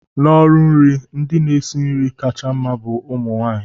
n'ọrụ nri, ndị na-esi nri kacha mma bu umu nwanyị